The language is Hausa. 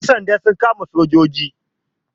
Ƴan sanda sun kama sojojin.